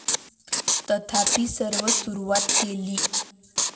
तथापि, सर्व सुरुवात केली?